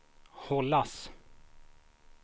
hållas